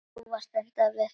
Þú varst að enda við.